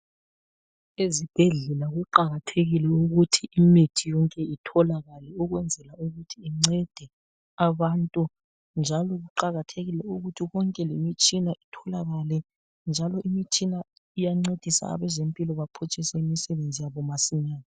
Ezibhedlela kuqakathekile ukuthi imithi yonke itholakale ukwenzela ukuthi kuncede abantu njalo kuqakathekile ukuthi konke lemitshina itholakale njalo imitshina iyancedisa abezempilo baphutshise imisebenzi yabo masinya .